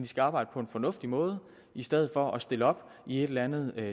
skal arbejde på en fornuftig måde i stedet for at stille op i et eller andet